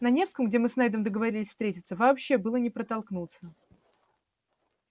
на невском где мы с нейдом договорились встретиться вообще было не протолкнуться